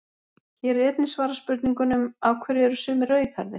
Hér er einnig svarað spurningunum: Af hverju eru sumir rauðhærðir?